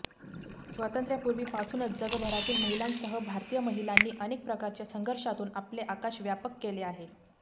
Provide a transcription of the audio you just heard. स्वातंत्र्यापूर्वीपासूनच जगभरातील महिलांसह भारतीय महिलांनी अनेक प्रकारच्या संघर्षातून आपले आकाश व्यापक केले आहे